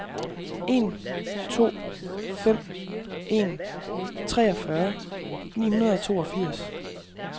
en to fem en treogfyrre ni hundrede og toogfirs